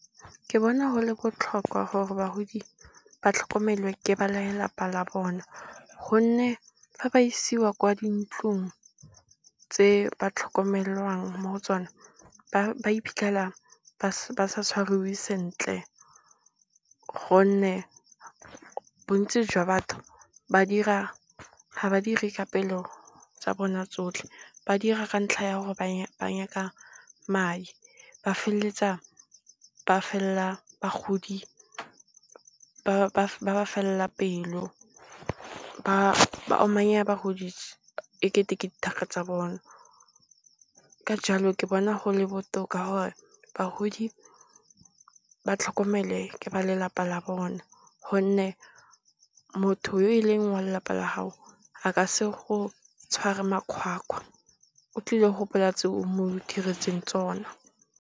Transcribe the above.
Ke bona go le botlhokwa gore bagodi ba tlhokomelwe ke ba lelapa la bona, gonne fa ba isiwa kwa dintlong tse ba tlhokomelwang mo go tsona ba iphitlhela ba sa tshwariwe sentle. Gonne bontsi jwa batho ga ba dire ka pelo tsa bona tsotlhe, ba dira ka ntlha ya gore banyaka madi ba feleletsa ba felela bagodi ba ba felela pelo, ba omanya bagodi e kete ke dithaka tsa bona. Ka jalo, ke bona gole botoka gore bagodi ba tlhokomele ke ba lelapa la bone. Gonne motho yo e leng wa lelapa la gago a ka se go tshware makgwakgwa o tlile go gopola tse o mo diretseng tsona.